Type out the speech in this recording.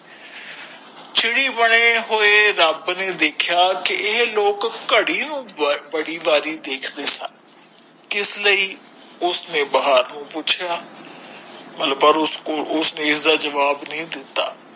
ਚਿੜੀ ਬਣੇ ਹੋਏ ਰਬ ਨੇ ਦੇਖਾ ਕਿ ਏਹ ਲੋਕ ਘੜੀ ਨੂੰ ਬੜੀ ਬਾਰੀ ਦੇਖ ਦੇ ਸਨ ਕਿਸ ਲੀਯੇ ਉਸਨੇ ਬੇਹਾਰੋ ਪੁਚਾ ਪਰ ਉਸ ਕੋਲ ਉਸਨੇ ਇਸ ਦਾ ਜਵਾਬ ਨੀ ਦਿਤਾ